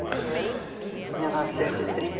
Em que ano? Mil novecentos e trinta.